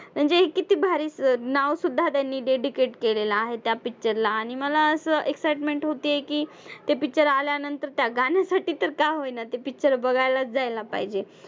म्हणजे हे किती भारी नावसुद्धा तेनी dedicate केलं आहे त्या picture ला आणि मला असं excitement होतीये की ते picture आल्यानंतर त्या गाण्यासाठी तर का होईना ते picture बघायलाच जायला पाहिजे.